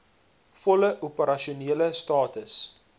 volle opersasionele status